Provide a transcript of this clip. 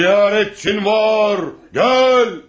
Ziyarətçin var, gəl!